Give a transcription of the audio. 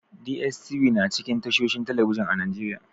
DSTV na cikin tashohin talbijin a Najeriya.